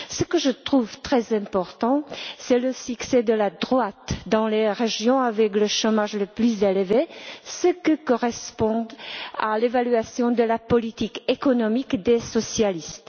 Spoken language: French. Ce que je trouve très important, c'est le succès de la droite dans les régions où le chômage est le plus élevé, ce qui correspond à l'évaluation de la politique économique des socialistes.